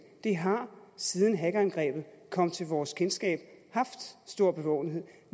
det har siden hackerangrebet kom til vores kendskab haft stor bevågenhed